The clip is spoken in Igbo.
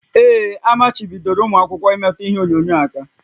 Ee, amachibidoro ụmụ akwụkwọ imetụ ihe onyonyo aka